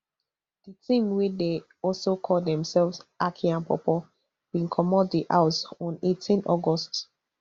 di team wey dey also call demselves aki and pawpaw bin comot di house on eighteen august